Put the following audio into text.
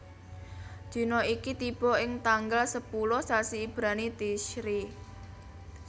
Dina iki tiba ing tanggal sepuluh sasi Ibrani Tishri